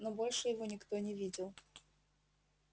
но больше его никто не видел